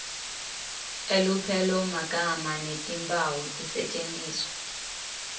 elupelomagama netimphawu tisetjentiswe